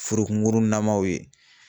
Furu kungurunnamaw ye